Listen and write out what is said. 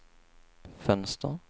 fönster